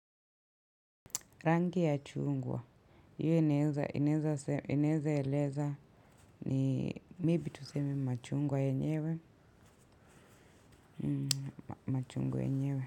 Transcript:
Rangi ya chungwa hiyo inaweza eleza ni maybe tuseme ni machungwa yenyewe.